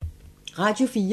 Radio 4